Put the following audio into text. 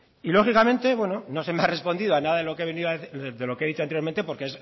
y lógicamente bueno no se me ha respondido a nada de lo que he dicho anteriormente porque